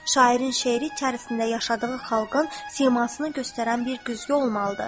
Şairin şeiri içərisində yaşadığı xalqın simasını göstərən bir güzgü olmalıdır.